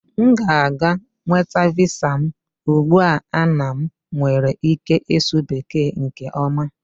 M ga-aga nweta Visa m ugbu a na m nwere ike ịsụ Bekee nke ọma